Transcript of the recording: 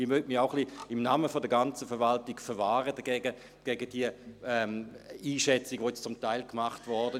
Auch möchte ich mich ein wenig im Namen der ganzen Verwaltung dagegen verwahren, gegen diese Einschätzung, die jetzt zum Teil gemacht wurde.